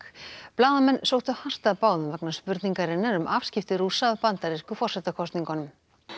blaðamenn sóttu hart að báðum vegna spurningarinnar um afskipti Rússa af bandarísku forsetakosningunum